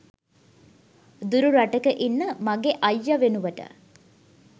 දුරු රටක ඉන්න මගෙ අයිය වෙනුවට